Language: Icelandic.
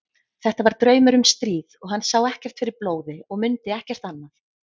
Þetta var draumur um stríð og hann sá ekkert fyrir blóði og mundi ekkert annað.